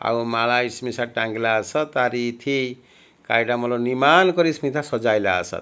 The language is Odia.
ଆଉ ମାଳା ଇସ୍ ମିଶା ଟାଙ୍ଗିଲା ଆସ ତାରି ଇଥି କାଇଟା ମୋଲ ନିମାନ୍ କରି ଇସ୍ମିତା ସଜାଇଲା ଆସ।